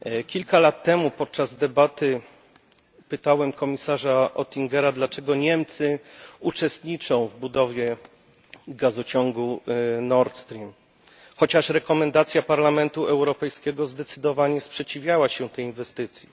Kilka lat temu podczas debaty pytałem komisarza Oettingera, dlaczego Niemcy uczestniczą w budowie gazociągu Nord Stream, chociaż w swoim zaleceniu Parlament Europejski zdecydowanie sprzeciwiał się tej inwestycji.